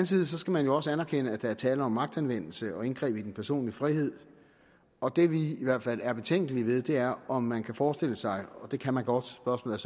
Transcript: side skal man også anerkende at der er tale om magtanvendelse og indgreb i den personlige frihed og det vi i hvert fald er betænkelige ved er om man kan forestille sig det kan man godt spørgsmålet